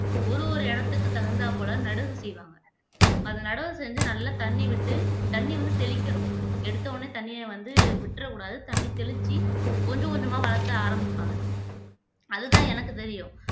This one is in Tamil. ஒரு ஒரு இடத்துக்கு தகுந்தாற்போல நடுவு செய்வாங்க அதை நடவு செஞ்சு நல்லா தண்ணி விட்டு தண்ணி வந்து தெளிக்கணும் எடுத்த உடனே தண்ணியை வந்து விட்டிறக்கூடாது தண்ணி தெளிச்சு கொஞ்சம் கொஞ்சமா வளர்த்த ஆரம்பிப்பாங்க அதுதான் எனக்கு தெரியும்